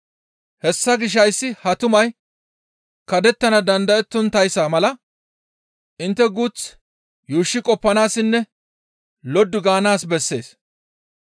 Hessa gishshas hayssi ha tumay kaddettana dandayettonttayssa mala intte guuth yuushshi qoppanaassinne loddu gaanaas bessees.